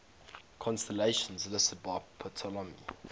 constellations listed by ptolemy